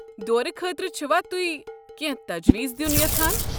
دورٕ خٲطرٕ چھِوا تہۍ کٮ۪نٛہہ تجویز دیُن یژھان؟